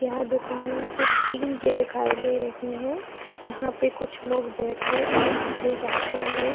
यह दुकाने मुझे टिन के दिखाई दे रहीं हैं यहां पे कुछ लोग बैठे और आते-जाते हुए --